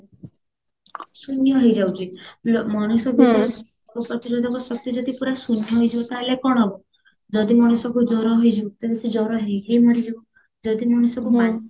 ଶୂନ୍ୟ ହେଇଯାଉଚି ଲୋ ମଣିଷ ରୋଗ ପ୍ରତିରୋଧକ ଶକ୍ତି ଯଦି ପୁରା ଶୂନ୍ୟ ହେଇଯିବ ତାହାହେଲେ କଣ ହବ ଯଦି ମଣିଷକୁ ଜର ହେଇଯିବ ତେବେ ସେ ଜର ହେଇକି ହି ମରିଯିବ ଯଦି ମଣିଷକୁ ବାନ୍ତି